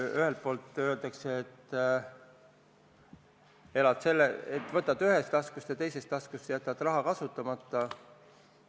Ühelt poolt öeldakse, et elad sedasi, et võtad ühest taskust ja jätad teisest taskust raha kasutamata.